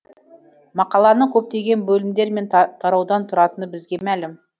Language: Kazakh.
мақаланың көптеген бөлімдер мен тараудан тұратыны бізге мәлім